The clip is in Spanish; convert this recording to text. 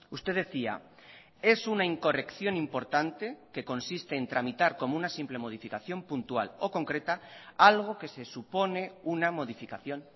usted decía es una incorrección importante que consiste en tramitar como una simple modificación puntual o concreta algo que se supone una modificación